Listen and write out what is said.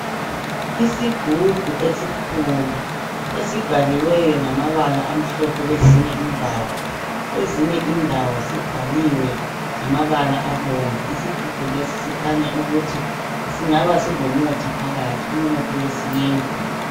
Isigubhu esikhulu esibhaliweyo ngamabala amhlophe kwezinye indawo. Kwezinye indawo sibhaliwe ngamabala abomvu . Isigubhu lesi sikhanya ukuthi singaba silomuthi phakathi umuthi wesintu.